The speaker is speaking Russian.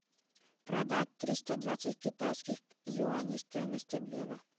продать триста двадцать китайских юаней стоимость обмена